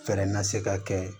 Fɛnɛ ma se ka kɛ